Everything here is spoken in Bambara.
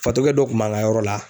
Fatɔkɛ dɔ kun b'an ka yɔrɔ la